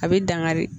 A bɛ dangari